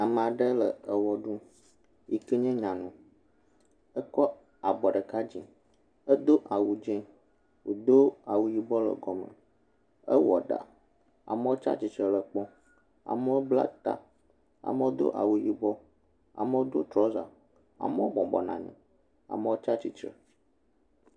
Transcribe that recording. Ame aɖe le ewɔ ɖum yi ke nye nyanu. Ekɔ abɔ ɖeka dzi hedo awu dzo, wodo awu yibɔ ɖe kɔme. Ewɔ ɖa amewo tsia titre le kpɔm, amewo bla ta, amewo do awu yibɔ, amewo do trɔsa, amewo bɔbɔnɔ anyi, amewo tsia tsitre.